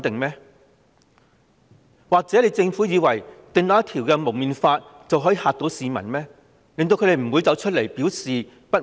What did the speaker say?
又或是以為訂立《禁止蒙面規例》，便可嚇怕市民，令他們不敢再出來表示不滿？